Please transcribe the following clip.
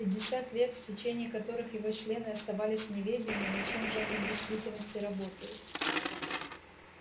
пятьдесят лет в течение которых его члены оставались в неведении над чем же они в действительности работают